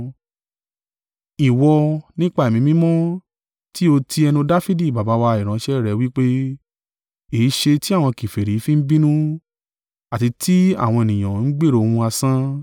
Ìwọ nípa Ẹ̀mí Mímọ́ tí ó ti ẹnu Dafidi baba wa ìránṣẹ́ rẹ̀ wí pé: “ ‘E é ṣe tí àwọn kèfèrí fi ń bínú, àti tí àwọn ènìyàn ń gbèrò ohun asán?